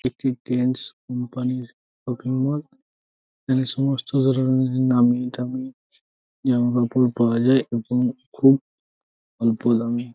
একটি Trends company -র shopping mall. এখানে সমস্ত ধরণের নামিদামি জামাকাপড় পাওয়া যায় এবং খুব অল্প দামে।